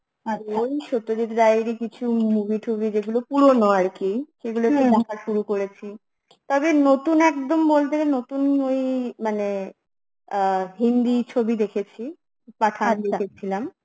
সত্যজিৎ রায়ের ই কিছু movie টুভি যেগুলো পুরনো আরকি একটু দেখা শুরু করেছি, তবে নতুন একদম বলতে গেলে নতুন ওই মানে, আ হিন্দি ছবি দেখেছি, পাঠান দেখেছিলাম